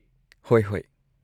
ꯍꯣꯏ, ꯍꯣꯏ꯫